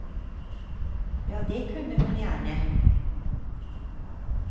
Ja, det kunne hun gjerne.